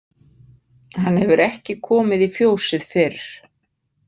Hann hefur ekki komið í fjósið fyrr.